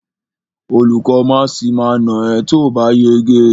Olùkó máàsì ma nà ẹ́ tóòbá yege.